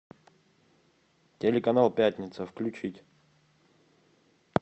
телеканал пятница включить